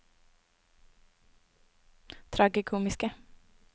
tragikomiske